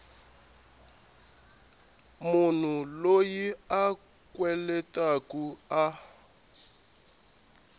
munhu loyi a kweletaku a